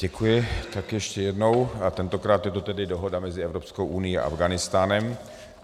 Děkuji, tak ještě jednou a tentokrát je to tedy dohoda mezi Evropskou unií a Afghánistánem.